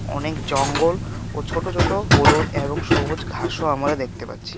অনেক জঙ্গল ও ছোট ছোট হলুদ এবং সবুজ ঘাসও আমরা দেখতে পাচ্ছি.